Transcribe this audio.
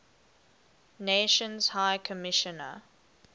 nations high commissioner